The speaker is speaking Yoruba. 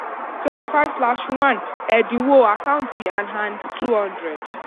twenty five slash one èdínwó account and and two hundred.